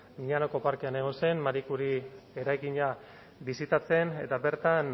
miñanoko parkean egon zen marie curie eraikina bisitatzen eta bertan